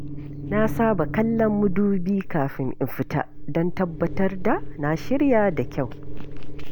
Na saba kallon madubi kafin in fita don tabbatar da na shirya da kyau.